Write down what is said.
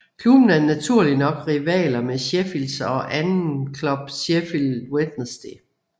Klubben er naturligt nok rivaler med Sheffields anden klub Sheffield Wednesday